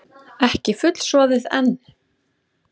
Ekki fullsoðið enn?